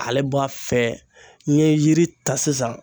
Ale b'a fɛ n'i ye yiri ta sisan